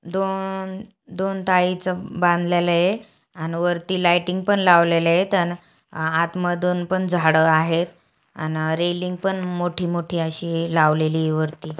दोन दोन थाळीच बांधलेल आहे. अन वरती लायटिंग पण लावलेल आहेत. अन आत मधून पण झाड आहेत. अन रेलिंग पण मोठी-मोठी अशी ही लावलेली ही वरती.